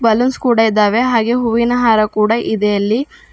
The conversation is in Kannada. ಬಲೂನ್ಸ್ ಕೂಡ ಇದಾವೆ ಹಾಗೆ ಹೂವಿನ ಹಾರ ಕೂಡ ಇದೆ ಅಲ್ಲಿ.